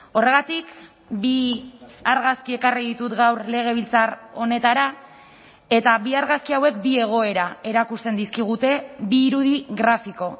horregatik bi argazki ekarri ditut gaur legebiltzar honetara eta bi argazki hauek bi egoera erakusten dizkigute bi irudi grafiko